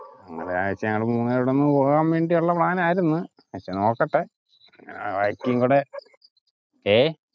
ഒരാഴ്ച്ച ഞങ്ങൾ മൂന്ന് പേരും കൂടി ഒന്ന് പോവാൻ വേണ്ടിയുള്ള plan ആയിരുന്നു. പക്ഷെ നോക്കട്ടെ ഞായറാഴ്ച്ചയും കൂടെ. ഹേ!